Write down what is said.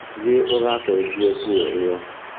Thiĩ ũgacenjie nguo ĩyo.